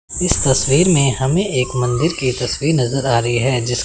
इस तस्वीर में हमें एक मंदिर की तस्वीर नज़र आ रही है जिस--